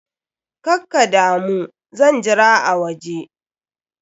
Kakkadamu, zan jira a waje.